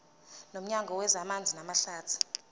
nomnyango wezamanzi namahlathi